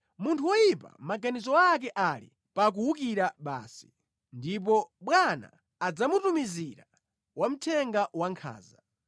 Munthu woyipa maganizo ake ali pa kuwukira basi; ndipo bwana adzamutumizira wamthenga wankhanza.